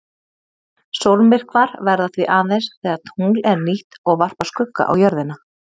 Sólmyrkvar verða því aðeins þegar tungl er nýtt og varpar skugga á jörðina.